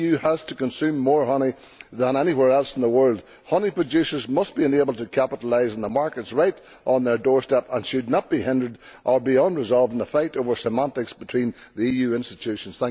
The EU has to consume more honey than anywhere else in the world. Honey producers must be able to capitalise on the markets right on their doorstep and should not be hindered or left unresolved by the fight over semantics between the EU institutions.